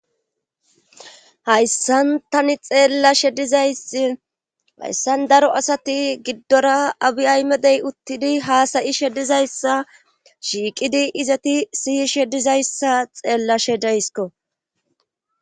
hayssan tani xeellashe dizaysi hayssan daro asati giddora abi aymedey uttidi haasayishe dizayssa shiiqidi izati siyishe dizayssa xeellashe deysko